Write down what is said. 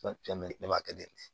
ne b'a kɛ ten de